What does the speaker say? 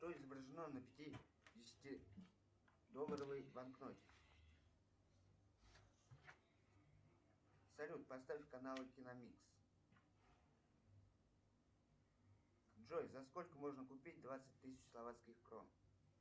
что изображено на пятидесятидолларовой банкноте салют поставь каналы киномикс джой за сколько можно купить двадцать тысяч словацких крон